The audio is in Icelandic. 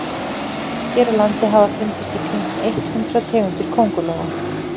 hér á landi hafa fundist í kringum eitt hundruð tegundir köngulóa